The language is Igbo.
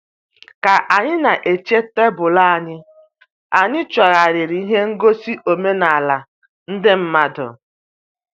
Ka anyị na-eche tebụl anyị, anyị chọgharịrị ihe ngosi omenala ndị mmadụ.